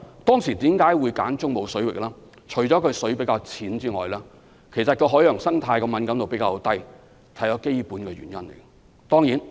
當時為何會選擇中部水域，除了因為水比較淺外，海洋生態的敏感度也是較低的，這是基本的原因。